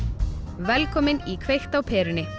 velkomin í kveikt á perunni